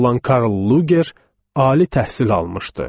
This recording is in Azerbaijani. olan Karl Luger ali təhsil almışdı.